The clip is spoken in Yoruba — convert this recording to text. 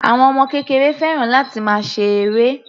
Àwọn ọmọ kékeré fẹ́ràn láti máa ṣe eré.